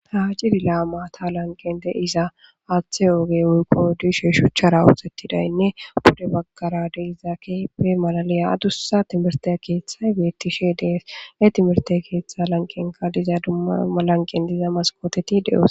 tahajidi laamata lanqen de7iza aaththe oogey wurqo diishe shuchchara wuxettidaynne bude baggara deiza keepe malaliya adussa timerte keeththay beettishe dees e timerte keeththa lanqenka diza dumma lanqen diza maskoteti de7os